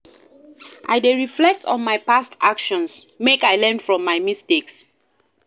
I dey reflect on my past actions, make I learn from my mistakes.